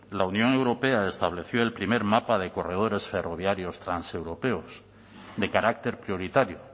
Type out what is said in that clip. la unión europea estableció el primer mapa de corredores ferroviarios transeuropeos de carácter prioritario